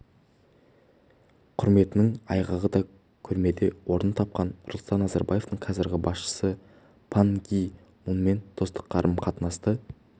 құрметінің айғағы да көрмеде орын тапқан нұрсұлтан назарбаевтың қазіргі басшысы пан ги мунмен достық қарым-қатынасы